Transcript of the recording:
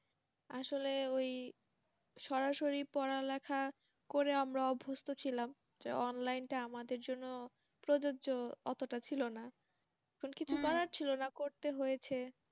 আসলে ওই সরাসরি পড়ালেখা করে আমরা অভ্যস্ত ছিলাম যে Online টা আমাদের জন্য প্রযোজ্য এতটা ছিল না করতে হয়েছে